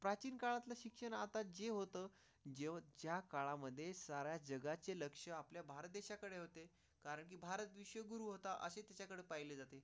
बांकी काळात शिक्षणात आजी होतं. ज्या काळामध्ये शहरात जगाचे लक्ष आपल्या भारत देशाकडे होते कारण की भारत विश्वगुरू होता असे त्याकडे पाहिले जाते.